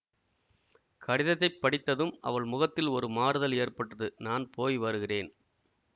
கடிதத்தை படித்ததும் அவள் முகத்தில் ஒரு மாறுதல் ஏற்பட்டது நான் போய் வருகிறேன்